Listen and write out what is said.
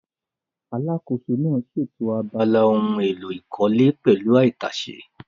Alákòóso náà ṣètò abala ohun èlò ìkọ́lé pẹ̀lú àìtàsé